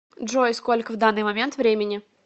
джой сколько в данный момент времени